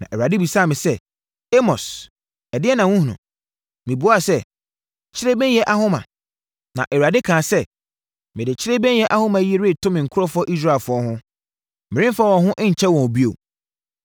Na Awurade bisaa me sɛ, “Amos, ɛdeɛn na wohunu?” Mebuaa sɛ, “Kyirebennyɛ ahoma.” Na Awurade kaa sɛ, “Mede kyirebennyɛ ahoma yi reto me nkurɔfoɔ Israelfoɔ ho; meremfa wɔn ho nkyɛ wɔn bio.